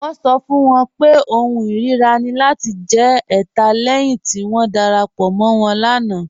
Wọn sọ fún wọn pé ọ̀hùn irira ni lati jẹ̀ ẹ̀tà lẹ́hin ti wọn darapọ̀ mọ̀ wọn láńà.